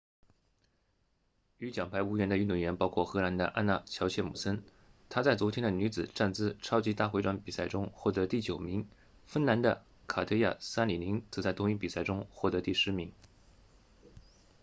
与奖牌无缘的运动员包括荷兰的安娜乔彻姆森她在昨天的女子站姿超级大回转比赛中获得第九名芬兰的卡特娅萨里宁则在同一比赛中获得第十名